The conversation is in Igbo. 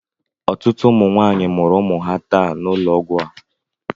Ọtụtụ ụmụ nwanyị mụrụ ụmụ ha taa n'ụlọ ọgwụ a.